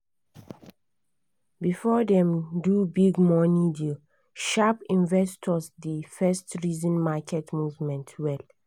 before dem do big money deal sharp investors dey first reason market movement well.